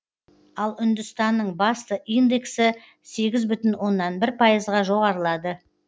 ал үндістанның басты индексі сегіз бүтін оннан бір пайызға жоғарылады